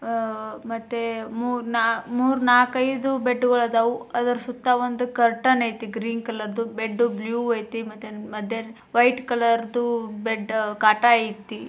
ಅಹ್ ಮತ್ತೆ ಮೂರ್ ನಾರ್ಕ್ ನಾಲ್ಕೈದು ಬೆಡ್ ಗಳು ಅದವು ಅದ್ರ ಸುತ್ತ ಒಂದು ಕರ್ಟನ್ ಐತಿ ಗ್ರೀನ್ ಕಲರದು ಬೆಡ್ಡು ಬ್ಲೂ ಐತಿ ಮತ್ತೆ ಮತ್ತೇನ್ ವೈಟ್ ಕಲರದು ಬೆಡ್ಡ ಕಾಟ ಕಾಟ ಐತಿ.